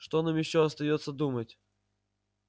что нам ещё остаётся думать